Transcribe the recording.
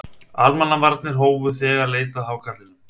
Almannavarnir hófu þegar leit að hákarlinum